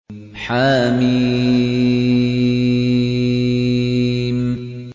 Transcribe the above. حم